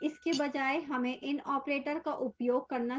इसके बजाय हमें in operator का उपयोग करना चाहिए